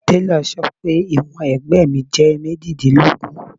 Telọ̀ sọ pé ìwọ̀n ẹ̀gbẹ́ mi jẹ́ méjìdínlógún.